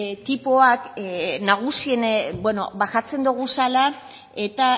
tipoak ba jartzen duguzala eta